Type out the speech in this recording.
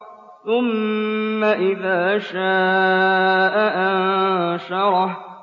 ثُمَّ إِذَا شَاءَ أَنشَرَهُ